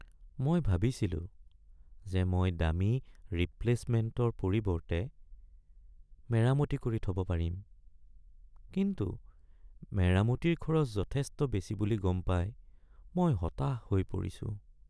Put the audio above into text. মই ভাবিছিলো যে মই দামী ৰিপ্লে'চমেণ্টৰ পৰিৱৰ্তে মেৰামতি কৰি থব পাৰিম, কিন্তু মেৰামতিৰ খৰচ যথেষ্ট বেছি বুলি গম পাই মই হতাশ হৈ পৰিছো।